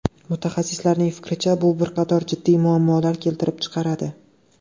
Mutaxassislarning fikricha, bu bir qator jiddiy muammolar keltirib chiqaradi.